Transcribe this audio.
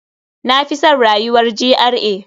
Na fi san rayuwar GRA.